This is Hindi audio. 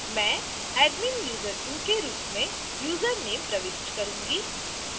मैं adminuser2 के रूप में username प्रविष्ट करूंगी